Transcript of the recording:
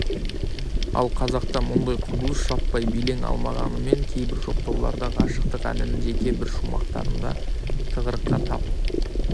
ал қазақта мұндай құбылыс жаппай белең алмағанымен кейбір жоқтауларда ғашықтық әннің жеке бір шумақтарында тығырыққа тап